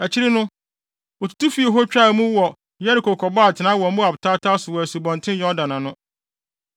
Akyiri no, wotutu fii hɔ twaa mu wɔ Yeriko kɔbɔɔ atenae wɔ Moab tataw so wɔ Asubɔnten Yordan ho.